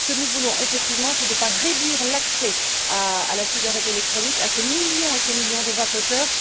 Ce que nous voulons effectivement, c'est ne pas réduire l'accès à la cigarette électronique à ces millions et ces millions de vapoteurs.